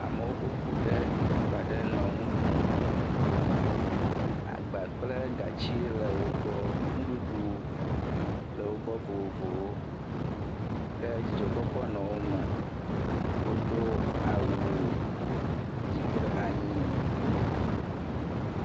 Amewo ƒo ƒu ɖe teƒe aɖe nɔ nu ɖum. Agba kple gati le wo gbɔ. Nuɖuɖu le wo gbɔ vovovowo. Dzidzɔkpɔkpɔ nɔ wo me. Wodo awu dzi kple anyi.